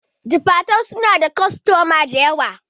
Jifatu suna da kwastamomi dayawa